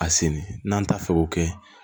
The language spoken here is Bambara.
A senni n'an t'a fɛ k'o kɛ